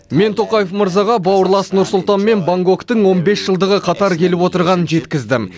мен тоқаев мырзаға бауырлас нұр сұлтан мен бангкоктың он бес жылдығы қатар келіп отырғанын жеткіздім